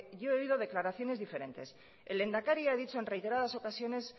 yo he oído declaraciones diferentes el lehendakari ha dicho en reiteradas ocasiones